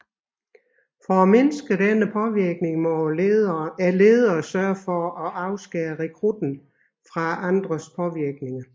For at mindske denne påvirkning må lederen sørge for at afskære rekrutten fra andres påvirkninger